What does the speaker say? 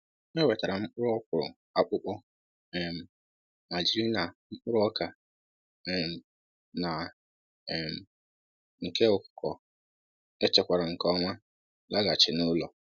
E wetara m mkpụrụ ọkwụrụ akpụkọ, um ma jiri na mkpụrụ ọka um na um nke ụkọkọ echekwara nke ọma laghachi n'ụlọ.